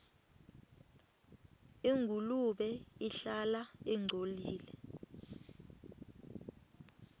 ingulube ihlala ingcolile